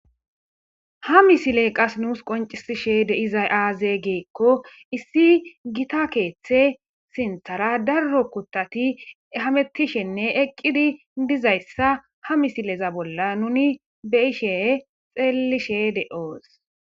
ha misiley qas nuus qoncisishe de'izay aaze geekko issi gita keeththe sinthara darro kuttati hamettishenne eqqidi dizayssa ha misileza bolla nuni be ishe xeellishe de'os